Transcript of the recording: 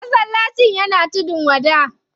Masallacin yana tudun wada.